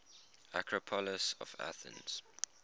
acropolis of athens